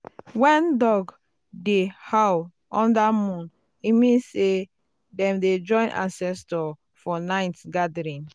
when dog dey um howl under moon e mean say dem um dey join ancestors for night gathering.